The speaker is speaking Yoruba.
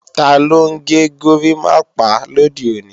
Taló ń gẹ górimápá lòde òní?